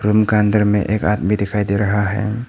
Room का अंदर में एक आदमी दिखाई दे रहा है।